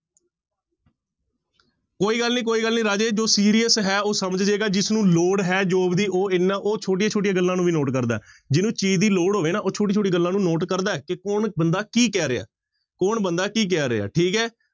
ਕੋਈ ਗੱਲ ਨੀ ਕੋਈ ਗੱਲ ਨੀ ਰਾਜੇ ਜੋ serious ਹੈੈ ਉਹ ਸਮਝ ਜਾਏਗਾ ਜਿਸਨੂੰ ਲੋੜ ਹੈ job ਦੀ ਉਹ ਇੰਨਾ ਉਹ ਛੋਟੀਆਂ ਛੋਟੀਆਂ ਗੱਲਾਂ ਨੂੰ ਵੀ note ਕਰਦਾ ਹੈ, ਜਿਹਨੂੰ ਚੀਜ਼ ਦੀ ਲੋੜ ਹੋਵੇ ਨਾ ਉਹ ਛੋਟੀ ਛੋਟੀ ਗੱਲਾਂ ਨੂੰ note ਕਰਦਾ ਹੈ ਕਿ ਕੌਣ ਬੰਦਾ ਕੀ ਕਹਿ ਰਿਹਾ, ਕੌਣ ਬੰਦਾ ਕੀ ਕਹਿ ਰਿਹਾ ਹੈ ਠੀਕ ਹੈ